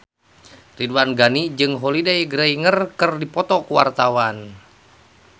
Ridwan Ghani jeung Holliday Grainger keur dipoto ku wartawan